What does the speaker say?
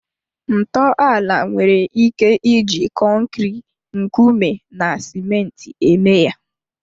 Ntọala nwere ike iji kọnkịri, nkume na ciment eme ya